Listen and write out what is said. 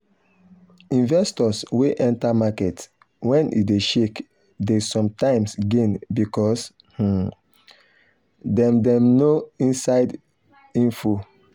investors wey enter market when e dey shake dey sometimes gain because um dem dem know inside info.